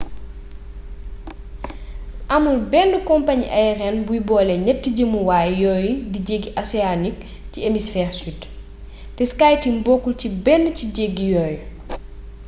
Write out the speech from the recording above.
amul benn compagnie aérienne buy boole ñatti jëmuwaay yooyu di jeggi océanique ci hémisphère sud te skyteam bokkul ci benn ci jéggi yooyu